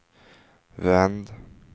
vänd